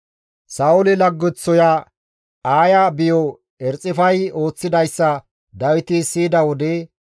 Sa7oole laggeththoya Aaya biyo Erxifay ooththidayssa Dawiti siyida wode,